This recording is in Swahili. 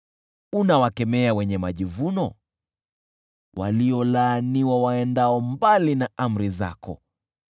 Unawakemea wenye majivuno, waliolaaniwa waendao mbali na amri zako.